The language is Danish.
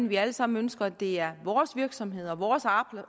vi alle sammen ønsker at det er vores virksomheder og vores